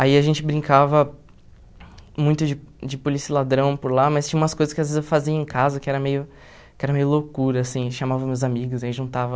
Aí a gente brincava muito de de polícia e ladrão por lá, mas tinha umas coisas que às vezes eu fazia em casa, que era meio que era meio loucura, assim, chamava meus amigos, aí juntava...